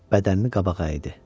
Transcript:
bədənini qabağa əydi.